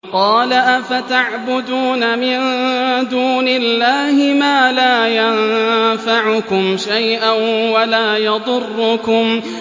قَالَ أَفَتَعْبُدُونَ مِن دُونِ اللَّهِ مَا لَا يَنفَعُكُمْ شَيْئًا وَلَا يَضُرُّكُمْ